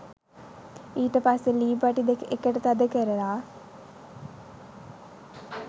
ඊට පස්සෙ ලී පටි දෙක එකට තද කරල